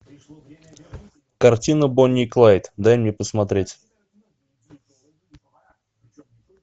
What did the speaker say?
картина бонни и клайд дай мне посмотреть